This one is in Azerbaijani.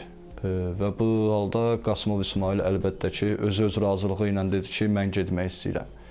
Və bu halda Qasımov İsmayıl əlbəttə ki, özü-öz razılığı ilə dedi ki, mən getmək istəyirəm.